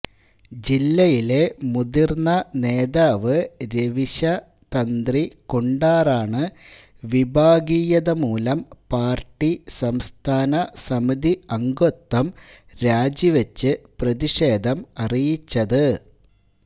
ജില്ലയിലെ മുതിര്ന്ന നേതാവ് രവീശ തന്ത്രി കുണ്ടാറാണ് വിഭാഗീയതമൂലം പാര്ട്ടി സംസ്ഥാന സമിതി അംഗത്വം രാജി വെച്ച് പ്രതിഷേധം അറിയിച്ചത്